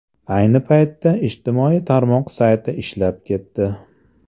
Ayni paytda ijtimoiy tarmoq sayti ishlab ketdi.